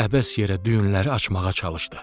Əbəs yerə düyünləri açmağa çalışdı.